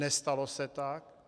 Nestalo se tak.